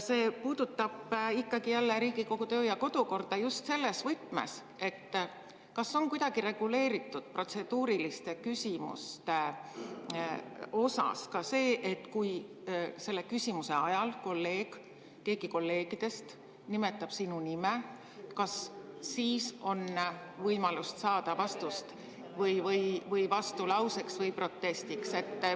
See puudutab jälle Riigikogu kodu‑ ja töökorda just selles võtmes, kas on protseduuriliste küsimuste puhul kuidagi reguleeritud ka see, et kui küsimuse ajal keegi kolleegidest nimetab sinu nime, siis kas on võimalus saada vastulauseks või protestiks.